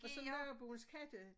Og så naboens katte